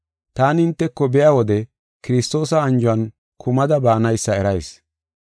Taani hinteko biya wode Kiristoosa anjuwan kumada baanaysa erayis.